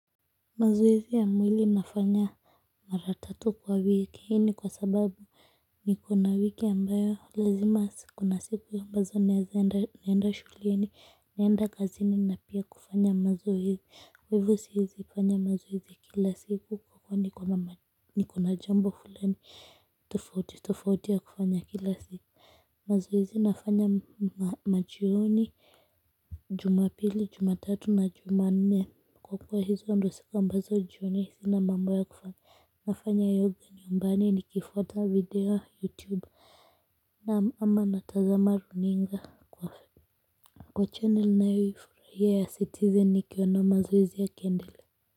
Mazoezi ya mwili nafanya mara tatu kwa wiki hii ni kwa sababu niko na wiki ambayo lazima kuna siku ambazo naezaenda naenda shuleni naenda kazini na pia kufanya mazoezi kwa hivo siezi kufanya mazoezi kila siku kwa kuwa nikona jambo fulani tofauti tofauti ya kufanya kila siku mazoezi nafanya majioni Jumapili Jumatatu na Jumanne kwa kwa hizo ndo siku ambazo jioni sina mambo ya kufanya nafanya yoga nyumbani nikifuata video youtube naam ama natazama runinga kwa kwa channel ninayoifurahia ya citizen nikiona mazoezi yakiendelea.